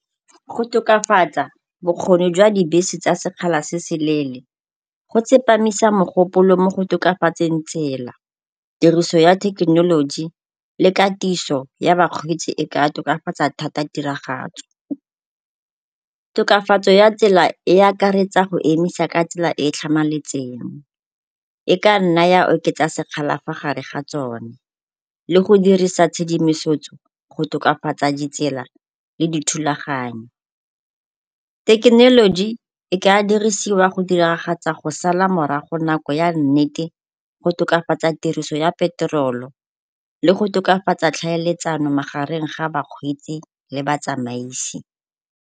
Go tokafatsa bokgoni jwa dibese tsa sekgala se se leele go tsepamisa mogopolo mo go tokafatseng tsela, tiriso ya thekenoloji le katiso ya bakgweetsi e ka tokafatsa thata tiragatso. Tokafatso ya tsela e akaretsa go emisa ka tsela e e tlhamaletseng. E ka nna ya oketsa sekgala fa gare ga tsone le go dirisa tshedimosetso go tokafatsa ditsela le dithulaganyo. Thekenoloji e ka diriswa go diragatsa go sala morago nako ya nnete go tokafatsa tiriso ya petrol-o le go tokafatsa tlhaeletsano magareng ga bakgweetsi le batsamaisi.